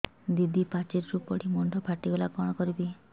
ଦିଦି ପାଚେରୀରୁ ପଡି ମୁଣ୍ଡ ଫାଟିଗଲା କଣ କରିବି